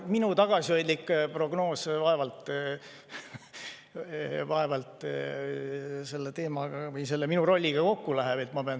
Minu tagasihoidlik prognoos vaevalt selle teema või selle minu rolliga kokku läheb.